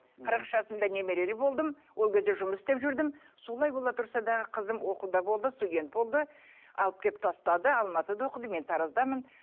қырық үш жасымда немерелі болдым ол кезде жұмыс істеп жүрдім солай бола тұрса дағы қызым оқуда болды студент болды алып келіп тастады алматыда оқыды мен тараздамын